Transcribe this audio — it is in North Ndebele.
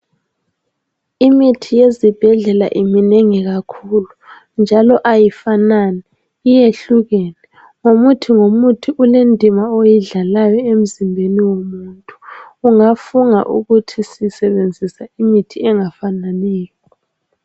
Imithi yezibhedlela iminengi kakhulu njalo ayifanani iyehlukene. Ngomuthi ngomuthi ulendima oyidlalayo emzimbeni womuntu. Ungafunga uthi sisebenzisa imithi engafananiyo.